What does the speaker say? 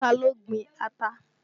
Taa ló gbin ata?